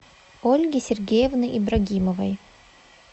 ольги сергеевны ибрагимовой